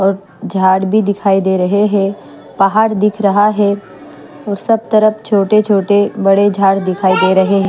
और झाड़ भी दिखाई दे रहे हैं पहाड़ दिख रहा है और सब तरफ छोटे छोटे बड़े झाड़ दिखाई दे रहे हैं।